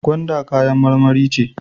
Gwanda kayan marmari ce.